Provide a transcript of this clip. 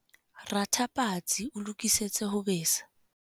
Ratha patsi o lokisetse ho besa.